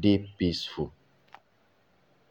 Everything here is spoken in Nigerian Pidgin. dey peaceful.